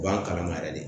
U b'a kalama yɛrɛ de